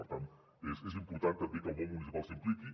per tant és important també que el món municipal s’hi impliqui